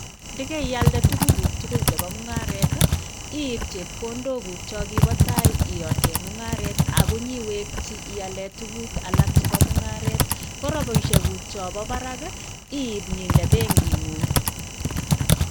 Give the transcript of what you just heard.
Ndo keialde tukuk guuk chebo mungaret tii iib chepkondo guuk chokipo tai iyaten mungaret ak inyoiweki ilrn tukuk alak chebo mungaret ko rabishe guuk chompo barak iih iib nyoinde benkit nguung.